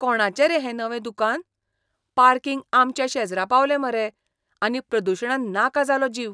कोणाचें रे हें नवें दुकान? पार्किंग आमच्या शेजरा पावलें मरे, आनी प्रदूशणान नाका जालो जीव.